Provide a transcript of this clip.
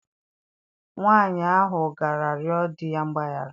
Nwaanyị ahụ gara rịọ di ya mgbaghara.